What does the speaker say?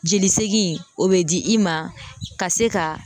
Jelisegin o bɛ di i ma ka se ka